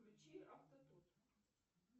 включи автотут